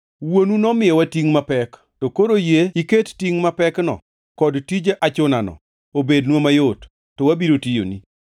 “Wuonu nomiyowa tingʼ mapek, to koro yie iket tingʼ mapekno kod tij achunano obednwa mayot, to wabiro tiyoni.”